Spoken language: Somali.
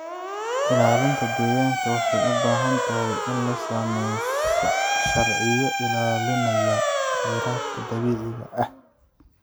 Ilaalinta deegaanka waxay u baahan tahay in la sameeyo sharciyo ilaalinaya khayraadka dabiiciga ah.